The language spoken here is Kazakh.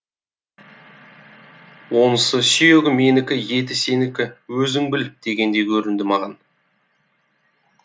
онысы сүйегі менікі еті сенікі өзің біл дегендей көрінді маған